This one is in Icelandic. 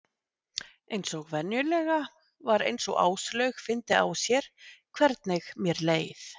Eins og venjulega var eins og Áslaug fyndi á sér hvernig mér leið.